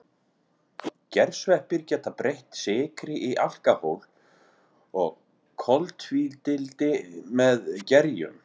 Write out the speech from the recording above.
Gersveppir geta breytt sykri í alkóhól og koltvíildi með gerjun.